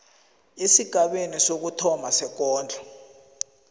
esigabeni sokuthoma sekondlo